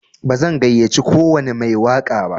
Bazan gayyace kowwani mai waƙa ba.